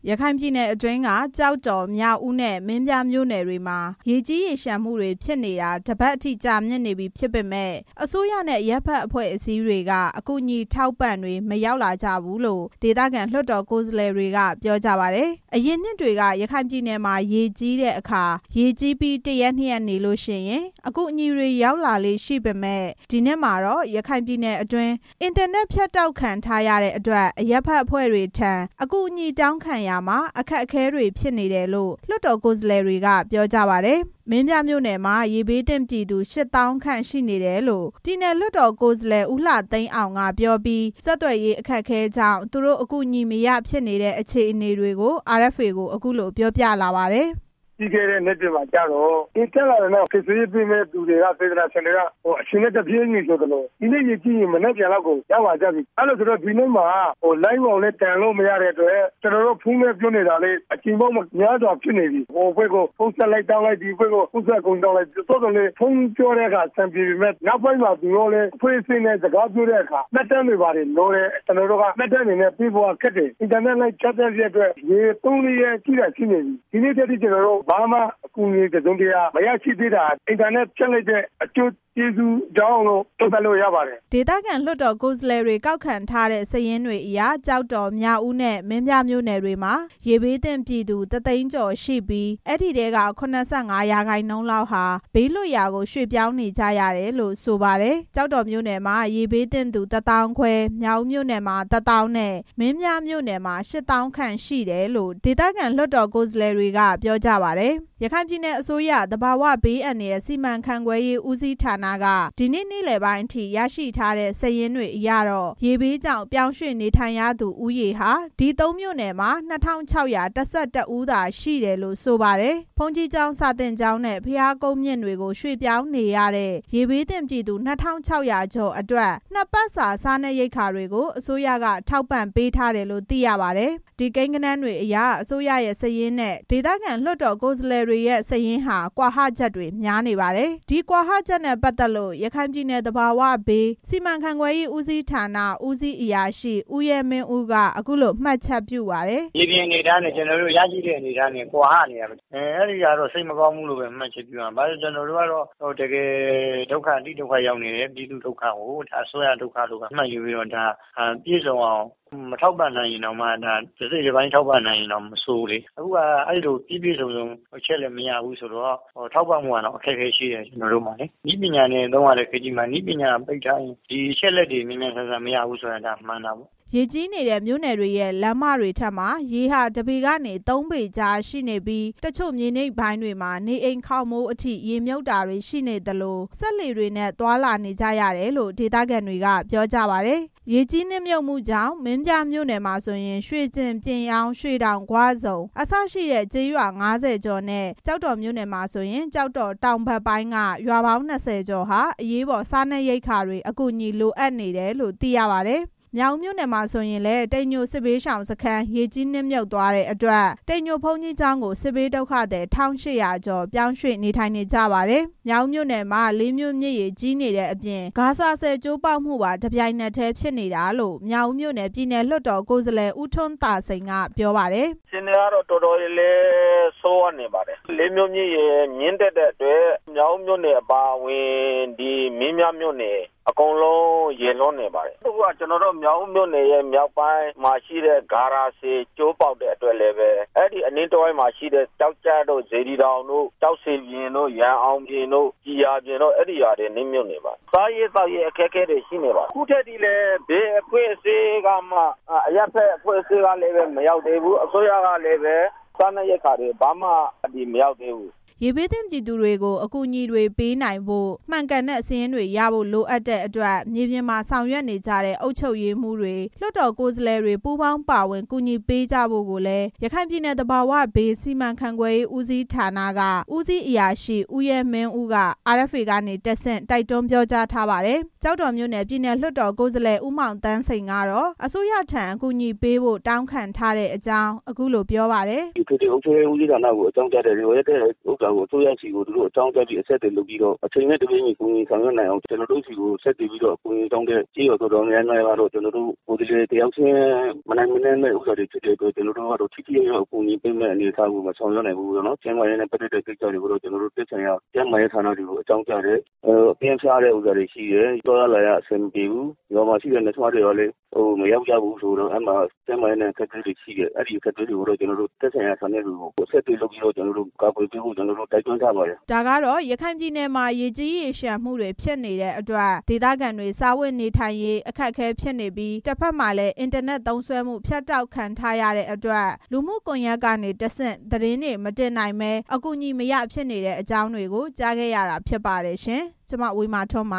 ရခိုင်ပြည်နယ်အတွင်းက ကျောက်တော်၊ မြောက်ဦးနဲ့ မင်းပြားမြို့နယ်တွေမှာ ရေကြီးရေလျံမှုတွေ ဖြစ်နေတာ တစ်ပတ်အထိ ကြာမြင့်နေပြီဖြစ်ပေမယ့် အစိုးရနဲ့ အရပ်ဖက်အဖက်အဖွဲ့အစည်းတွေက အကူအညီအထောက်ပံ့တွေ ရောက်မလာကြဘူးလို့ ဒေသခံ လွှတ်တော် ကိုယ်စားလှယ်တွေက ပြောကြပါတယ်။ အရင်နှစ်တွေက ရခိုင်ပြည်နယ်မှာ ရေကြီးတဲ့အခါ ရေကြီးပြီး တစ်ရက် နှစ်ရက်နေရင် အကူအညီတွေ ရောက်လာလေ့ရှိပေမယ့် ဒီနှစ်မှာတော့ ရခိုင်ပြည်နယ်အတွင်း အင်တာနက် ဖြတ်တောက်ခံထားရတဲ့အတွက် အရပ်ဖက်အဖွဲ့တွေထံ အကူအညီတောင်းခံရာမှာ အခက်အခဲတွေ ဖြစ်နေတယ်လို့ လွှတ်တော် ကိုယ်စားလှယ်တွေက ပြောကြပါတယ်။ မင်းပြားမြို့နယ်မှာ ရေဘေးသင့်ပြည်သူ ရှစ်သောင်းခန့်ရှိနေတယ်လို့ ပြည်နယ်လွှတ်တော် ကိုယ်စားလှယ် ဦးလှသိန်းအောင်က ပြောပြီး ဆက်သွယ်ရေး အခက်အခဲကြောင့် သူတို့အကူအညီ မရဖြစ်နေတဲ့ အခြေအနေတွေကို RFA ကို အခုလို ပြောပြလာပါတယ်။ “ပြီးခဲ့တဲ့နှစ်မှာတော့ ရေတက်လာတာနဲ့အမျှ ကယ်ဆယ်ရေးပေးမယ့် စေတနာရှင်တွေက အချိန်နဲ့တပြေးညီကို ဒီနေ့ ရေကြီးရင် မနက်ဖြန်လောက်ကို ရောက်လာကြပြီ။ ဒီနေ့မှာ လိုင်းပေါ်လည်း တင်လို့မရတဲ့အတွက် ကျနော်တို့ ဖုန်းနဲ့ပြောနေတာ အကြိမ်ပေါင်းများစွာ ဖြစ်နေပြီ။ ဟိုအဖွဲ့ကို ဖုန်းဆက်တောင်းလိုက် ဒီအဖွဲ့ကို ဖုန်းဆက်တောင်းလိုက်နဲ့ ဖုန်းဆက်တုန်းမှာ အဆင်ပြေတယ်။ နောက်ပိုင်းမှာ သူတို့ အဖွဲ့အစည်းနဲ့ စကားပြောတဲ့အခါ မှတ်တမ်းတွေဘာတွေလိုတယ်။ ကျနော်တို့က မှတ်တမ်းတွေပေးဖို့က ခက်တယ်။ အင်တာနက်လိုင်းဖြတ်လိုက်တဲ့အတွက် ရေကြီးတာ ၃၊ ၄ ရက်ရှိနေပြီ။ ဒီနေ့အထိ ကျနော်တို့က ဘာမှအကူအညီတစ်စုံတစ်ရာမရတာ အင်တာနက်မရတဲ့ အကျိုးကျေးဇူးကြောင့်လို့ ကျနော်တို့ သုံးသပ်လု့ိရပါတယ်” ဒေသခံ လွှတ်တော် ကိုယ်စားလှယ်တွေ ကောက်ခံထားတဲ့ စာရင်းတွေအရ ကျောက်တော်၊ မြောက်ဦးနဲ့ မင်းပြားမြို့နယ်တွေမှာ ရေဘေးသင့်ပြည်သူ တစ်သိန်းကျော်ရှိပြီး ဒီထဲက ၇၅ ရာခိုင်နှုန်းလောက်ဟာ ဘေးလွတ်ရာကို ရွှေ့ပြောင်းနေထိုင်နေကြရတယ်လို့ ဆိုပါတယ်။ ကျောက်တော်မြို့နယ်မှာ ရေဘေးသင့်သူ တစ်သောင်းခွဲ၊ မြောက်ဦးမြို့နယ်မှာ တစ်သောင်းနဲ့ မင်းပြား မြို့နယ်မှာ ရှစ်သောင်းခန့်ရှိတယ်လို့ ဒေသခံ လွှတ်တော် ကိုယ်စားလှယ်တွေက ပြောပါတယ်။ ရခိုင်ပြည်နယ်အစိုးရ၊ သဘာဝဘေးအန္တရာယ်စီမံခန့်ခွဲရေးဦးစီးဌာနက ဒီနေ့ နေ့လယ်ပိုင်းအထိ ရရှိထားတဲ့ စာရင်းတွေအရတော့ ရေဘေးကြောင့် ပြောင်းရွှေ့နေထိုင်ရသူ ဦးရေဟာ ဒီ သုံးမြို့နယ်မှာ ၂၆၁၁ ဦးသာရှိတယ်လို့ ဆိုပါတယ်။ ဘုန်းကြီးကျောင်း၊ စာသင်ကျောင်းနဲ့ ဘုရားကုန်းမြင့်တွေကို ရွှေ့ပြောင်းနေရတဲ့ ရေဘေးသင့်ပြည်သူ ၂၆၀၀ ကျော်အတွက် နှစ်ပတ်စာ စားနပ်ရိက္ခာတွေကို အစိုးရက ထောက်ပံ့ပေးထားတယ်လို့ သိရပါတယ်။ ဒီကိန်းဂဏန်းတွေအရ အစိုးရရဲ့စာရင်းနဲ့ ဒေသခံ လွှတ်တော် ကိုယ်စားလှယ်တွေရဲ့ စာရင်းတွေဟာ ကွာဟချက်တွေ များနေပါတယ်။ ဒီကွာဟချက်နဲ့ ပတ်သက်လို့ ရခိုင်ပြည်နယ်၊ သဘာဝဘေးစီမံခန့်ခွဲရေးဦးစီးဌာနက ဦးစီးအရာရှိ ဦးရဲမင်းဦးက အခုလို မှတ်ချက်ပြုပါတယ်။ “မြေပြင်အနေအထားနဲ့ ကျနော်တို့ ရရှိတဲ့အနေအထားနဲ့ ကွာဟနေတာ။ အဲဒီဟာတော့ စိတ်မကောင်းဘူးလို့ မှတ်ချက်ပြုရမှာပေါ့။ ဘာလို့လည်းဆိုတော့ ကျနော်တို့ကတော့ တကယ်ဒုက္ခရောက်နေတဲ့ ပြည်သူ့ဒုက္ခကို အစိုးရဒုက္ခလို့ပဲ မှတ်ယူပြီးတော့ ပြည့်စုံအောင် မထောက်ပံ့နိုင်ရင်တောင် တစိတ်တပိုင်းထောက်ပံ့နိုင်ရင် မဆိုးဘူးလေ။ အခုဟာ ပြည့်ပြည့်စုံစုံ အချက်အလက်မရဘူးဆိုတော့ ထောက်ပံ့ဖို့တောင် အခက်အခဲရှိတယ်။ နည်းပညာနဲ့ လုပ်ရတဲ့ ခေတ်ကြီးမှာ နည်းပညာတွေပိတ်ထားရင် အချက်အလက်တွေ မြန်မြန်ဆန်ဆန်မရဘူးဆိုတာ ဒါမှန်တာပေါ့” ရေကြီးနေတဲ့ မြို့နယ်တွေရဲ့ လမ်းမတွေထက်မှာ ရေဟာ တစ်ပေကနေ သုံးပေကြားရှိနေပြီး တချို့မြေနိမ့် ပိုင်းတွေမှာ နေအိမ်ခေါင်မိုးတွေအထိ ရေမြုပ်တာတွေရှိနေသလို စက်လှေတွေနဲ့ သွားလာနေကြရတယ်လို့ ဒေသခံတွေက ပြောကြပါတယ်။ ရေကြီးနစ်မြုပ်မှုကြောင့် မင်းပြားမြို့နယ်မှာဆိုရင် ရွှေကျင်၊ ပြင်ယောင်း၊ ရွှေတောင်၊ ဂွဆုံ အစရှိတဲ့ ကျေးရွာ ၅၀ ကျော်နဲ့ ကျောက်တော်မြို့နယ်မှာဆိုရင် ကျောက်တော်တောင်ဘက်ပိုင်းက ရွာပေါင်း ၂၀ ကျော်ဟာ အရေးပေါ်စားနပ်ရိက္ခာတွေ အကူအညီလိုအပ်နေတယ်လို့ သိရပါတယ်။ မြောက်ဦးမြို့နယ်မှာဆိုရင်လည်း တိမ်ညိုစစ်ဘေးရှောင်စခန်း ရေကြီးနစ်မြုပ်သွားတဲ့အတွက် တိမ်ညို ဘုန်းကြီးကျောင်းကို စစ်ဘေးဒုက္ခသည် ၁၈၀၀ ကျော် ရွှေ့ပြောင်းနေထိုင်နေကြရပါတယ်။ မြောက်ဦးမြို့နယ်မှာ လေးမြို့မြစ်ရေကြီးတဲ့အပြင် ဂါရာဆည် ကျိုးပေါက်မှုပါ တပြိုင်နက်တည်း ဖြစ်နေတာလို့ မြောက်ဦးမြို့နယ် ပြည်နယ်လွှတ်တော် ကိုယ်စားလှယ် ဦးထွန်းသာစိန်က ပြောပါတယ်။ “အခြေအနေက တော်တော်လေးဆိုးရွားနေပါတယ်။ လေးမြို့မြစ်ရေ မြစ်တက်နေတဲ့အတွက် မြောက်ဦးမြို့နယ် အပါအဝင် မင်းပြားမြို့နယ် အကုန်လုံးရေလွှမ်းနေပါတယ်။ အခုဟာက မြောက်ဦးမြို့နယ် မြောက်ပိုင်းမှာရှိတဲ့ ဂါရာဆည် အဲ့ဒီအနီးတဝိုက်မှာရှိတဲ့ ကျောက်ကျတို့ စေတီတောင်တို့ ကျောက်ဆည်ပြင်တို့ ရန်အောင်ပြင်တို့ ကျည်ရာပြင်တို့ အဲဒီရွာတွေ နစ်မြုပ်နေပါတယ်။ စားရေးသောက်ရေးတွေ အခက်အခဲဖြစ်နေတယ်။ အခုထက်ထိလည်း အစိုးရရော ဘယ်အဖွဲ့အစည်းကမှ အကူအညီတွေ မရောက်သေးဘူး” ရေဘေးသင့်ပြည်သူတွေကို အကူအညီတွေပေးနိုင်ဖို့ မှန်ကန်တဲ့စာရင်းတွေ ရဖို့လိုအပ်တဲ့အတွက် မြေပြင်မှာဆောင်ရွက်နေကြတဲ့ အုပ်ချုပ်ရေးမှူးတွေ၊ လွှတ်တော် ကိုယ်စားလှယ်တွေ ပူးပေါင်းပါဝင် ကူညီပေးကြဖို့လည်း ရခိုင်ပြည်နယ်၊ သဘာဝဘေးစီမံခန့်ခွဲရေး ဦးစီးဌာနက ဦးစီးအရာရှိ ဦးရဲမင်းဦးက RFA ကတဆင့် တိုက်တွန်းပြောကြားထားပါတယ်။ ကျောက်တော်မြို့နယ် ပြည်နယ်လွှတ်တော် ကိုယ်စားလှယ် ဦးမောင်သန်းစိန်ကတော့ အစိုးရထံ အကူအညီပေးဖို့ တောင်းခံထားအကြောင်း အခုလို ပြောပါတယ်။ “အထွေထွေအုပ်ချုပ်ရေးဦးစီးဌာနကို အကြောင်းကြားထားတယ်။ လိုအပ်တဲ့ဟာကို အစိုးရကို ဆက်သွယ်ပြီး အကြောင်းကြားဖို့ အချိန်နဲ့တပြေးညီ ကူညီဆောင်ရွက်နိုင်အောင်။ ကျေးရွာတော်တော်များများ ကျနော်တို့ဆီ ဆက်သွယ်ပြီး အကူညီတောင်းတယ်။ ကိုယ်စားလှယ် တစ်ယောက်ချင်း ကူညီဖို့မနိုင်နင်းတဲ့အတွက် ကျနော်တို့က ထိထိရောက်ရောက် အကူအညီပေးနိုင်မယ့် အနေအထားကို မဆောင်ရွက်နိုင်ဘူး။ ကျန်းမာရေးနဲ့ သက်ဆိုင်တဲ့ကိစ္စတွေကို ကျန်းမာရေးဌာနတွေကို အကြောင်းကြားတယ်။ အပြင်းဖျားတာတွေရှိတယ်။ သွားရလာရ အဆင်မပြေဘူး။ ရွာမှာရှိတဲ့ သူနာပြုဆရာမတွေလည်း မရောက်ကြဘူးဆိုတော့ ကျန်းမာရေး အခက်အခဲတွေရှိတယ်။ သက်ဆိုင်ရာဌာနတွေ ကာကွယ်ပေးဖို့ ကျနော်တို့ တိုက်တွန်းထားပါတယ်” ဒါကတော့ ရခိုင်ပြည်နယ်မှာ ရေကြီးရေလျံမှုတွေဖြစ်နေတဲ့အတွက် ဒေသခံတွေ စားဝတ်နေထိုင်ရေး အခက်အခဲဖြစ်နေပြီး တဖက်မှာလည်း အင်တာနက်သုံးစွဲမှု ဖြတ်တောက်ခံထားရတဲ့အတွက် လူမှုကွန်ယက်ကနေတဆင့် သတင်းတွေမတင်နိုင်ဘဲ အကူအညီမရ ဖြစ်နေတဲ့အကြောင်းတွေကို ကြားခဲ့ရတာ ဖြစ်ပါတယ်။ (RFA သတင်းထောက် မဝေမာထွန်း